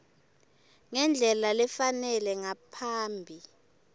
ngendlela lefanele ngaphambi